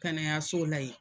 Kanayaso la ye.